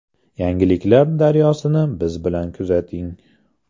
Yangiliklar daryosini biz bilan kuzating.